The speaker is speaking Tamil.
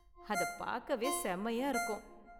அதைப் பார்க்கவே செம்மயா இருக்கும்.